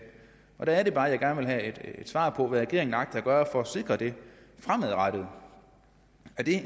der er det bare at jeg gerne vil have et svar på hvad regeringen agter at gøre for at sikre det fremadrettet er det